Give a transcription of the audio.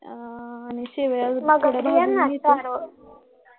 आह शेवयात भाजून घेते